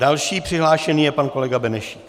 Další přihlášený je pan kolega Benešík.